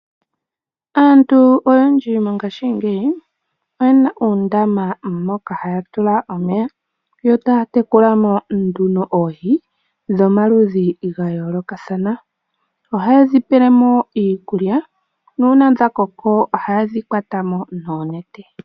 Aantu oyendji mongashingeyi oyena uundama moka haya tula mo omeya yo taya tekula mo nduno oohi dhomaludhi ga yoolokathana. Ohaye dhi pele mo iikulya, nuuna dha koko ohaye dhi kwata mo noonete.